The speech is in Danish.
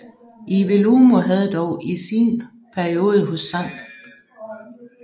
Iwelumo havde dog i sin periode hos St